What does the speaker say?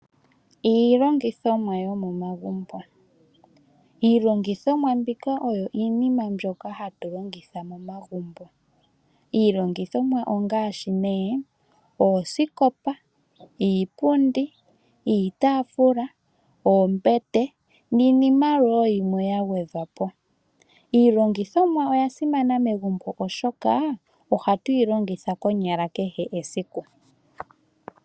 Iilongithomwa yomomagumbo. Iilongithomwa mbika oyo iinima mbyoka hatu longitha momagumbo . Iilongithomwa ongaashi nee: oosikopa, iipundi, iitaafula, oombete niinima wo yilwe ya gwedhwa po. Iilongithomwa oya simana megumbo oshoka ohatu yi longitha kehe esiku.